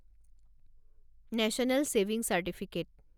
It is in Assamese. national saving certificate